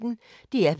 DR P1